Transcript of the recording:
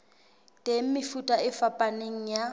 teng mefuta e fapaneng ya